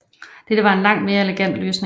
Dette var en langt mere elegant løsning